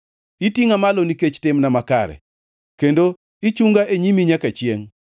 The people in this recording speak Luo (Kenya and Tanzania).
Itingʼa malo nikech timna makare kendo ichunga e nyimi nyaka chiengʼ.